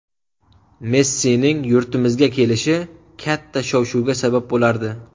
Messining yurtimizga kelishi katta shov-shuvga sabab bo‘lardi.